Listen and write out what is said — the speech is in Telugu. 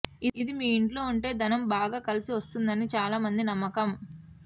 ఇది మీ ఇంట్లో ఉంటె ధనం బాగా కలసి వస్తుందని చాలామంది నమ్మకం